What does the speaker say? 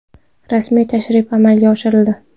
Rasmiy tashrif amalga oshirildi.